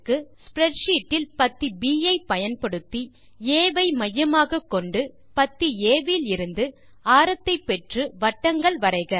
spreadsheet இல் பத்தி ப் ஐ பயன்படுத்தி ஆ ஐ மையமாகக்கொண்டு பத்தி ஆ விலிருந்து ஆரத்தை பெற்று வட்டங்கள் வரைக